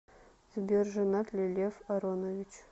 сбер женат ли лев аронович